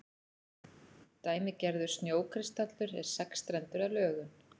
dæmigerður snjókristallur er sexstrendur að lögun